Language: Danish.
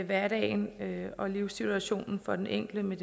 hverdagen og livssituationen for den enkelte med